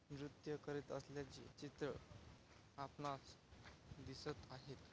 नृत्य करत असल्याचे चित्र आपणास दिसत आहेत.